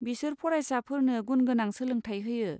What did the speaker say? बिसोर फरायसाफोरनो गुनगोनां सोलोंथाय होयो।